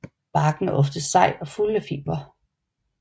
Barken er ofte sej og fuld af fibre